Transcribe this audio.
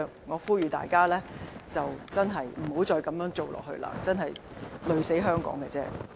我呼籲大家真的別再這樣做，這樣只會累死香港而已。